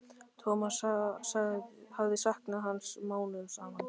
Thomas hafði saknað hans mánuðum saman.